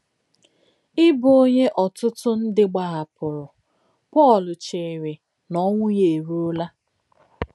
N’ìbù ọ̀nyé òtútù ńdí gbàhàpùrù, Pọ́l chèèrè nà ònwụ̀ yà èrùòlá.